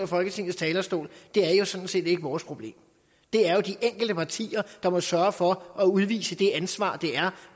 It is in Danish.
folketingets talerstol er jo sådan set ikke vores problem det er jo de enkelte partier der må sørge for at udvise det ansvar det er